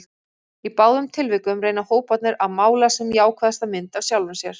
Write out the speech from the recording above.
Í báðum tilvikum reyna hóparnir að mála sem jákvæðasta mynd af sjálfum sér.